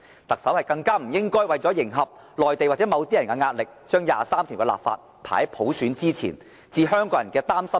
特首更不應為迎合內地或某些人的壓力，將第二十三條的立法排在實現普選之前，置香港人的擔心於不顧。